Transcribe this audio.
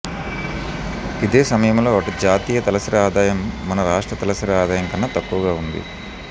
ఇదే సమయంలో అటు జాతీయ తలసరి ఆదాయం మన రాష్ట్ర తలసరి ఆదాయం కన్నా తక్కువగా ఉంది